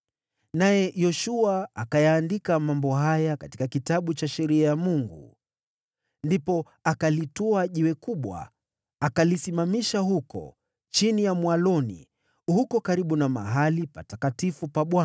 Naye Yoshua akayaandika mambo haya katika Kitabu cha Sheria ya Mungu. Ndipo akalitwaa jiwe kubwa, akalisimamisha huko chini ya mwaloni, karibu na mahali patakatifu pa Bwana .